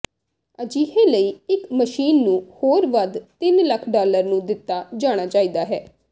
ਅਜਿਹੇ ਲਈ ਇੱਕ ਮਸ਼ੀਨ ਨੂੰ ਹੋਰ ਵੱਧ ਤਿੰਨ ਲੱਖ ਡਾਲਰ ਨੂੰ ਦਿੱਤਾ ਜਾਣਾ ਚਾਹੀਦਾ ਹੈ